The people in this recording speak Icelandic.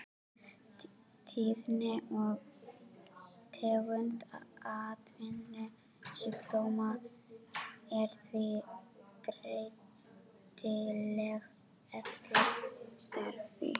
Tíðni og tegund atvinnusjúkdóma er því breytileg eftir starfi.